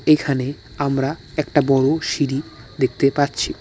এইখানে আমরা একটা বড় সিঁড়ি দেখতে পাচ্ছি।